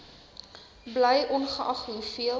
bly ongeag hoeveel